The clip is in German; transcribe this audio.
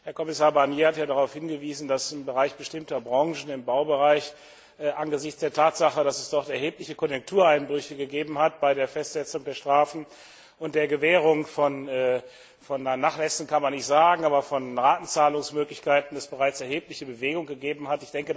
Herr Kommissar Barnier hat darauf hingewiesen, dass im Bereich bestimmter Branchen, im Baubereich, angesichts der Tatsache, dass es dort erhebliche Konjunktureinbrüche gegeben hat, es bei der Festsetzung der Strafen und der Gewährung von Nachlässen kann man nicht sagen, aber von Ratenzahlungsmöglichkeiten bereits erhebliche Bewegung gegeben hat.